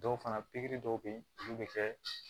Dɔw fana pikiri dɔw be yen olu bi kɛ